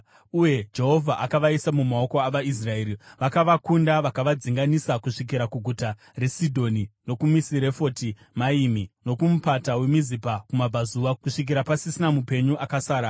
uye Jehovha akavaisa mumaoko avaIsraeri. Vakavakunda vakavadzinganisa kusvikira kuGuta reSidhoni, nokuMisirefoti Maimi, nokuMupata weMizipa kumabvazuva, kusvikira pasisina mupenyu akasara.